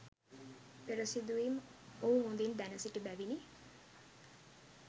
පෙර සිදුවීම් ඔහු හොඳින් දැනසිටි බැවිනි.